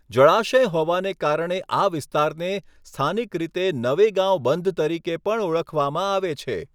જળાશય હોવાને કારણે આ વિસ્તારને સ્થાનિક રીતે નવેગાંવ બંધ તરીકે પણ ઓળખવામાં આવે છે.